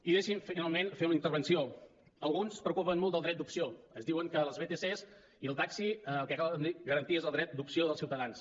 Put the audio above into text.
i deixin me finalment fer una intervenció alguns es preocupen molt del dret d’opció es diuen que les vtc i el taxi el que cal garantir és el dret d’opció dels ciutadans